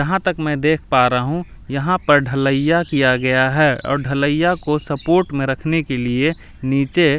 जहां तक मैं देख पा रहा हूं यहां पर ढलैया किया गया है और ढलैया को सपोर्ट में रखने के लिए नीचे--